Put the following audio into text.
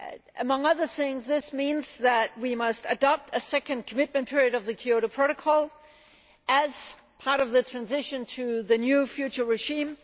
Among other things this means that we must adopt a second commitment period of the Kyoto Protocol as part of the transition to the new future regime.